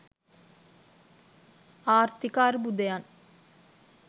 ආර්ථික අර්බුදයන්